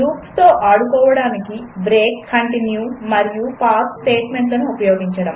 లూప్స్తో ఆడుకోడానికి break continue మరియు pass స్టేట్మెంట్లను ఉపయోగించడం